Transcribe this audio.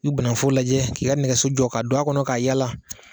I bɛ banaku foro lajɛ k'i ka nɛgɛso jɔ ka don a kɔnɔ ka yaala,